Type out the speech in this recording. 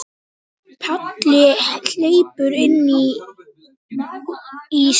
Palli hleypur inn í stofu.